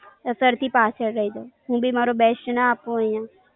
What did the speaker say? હું ભી મારુ the best ના આપું અહીંયા.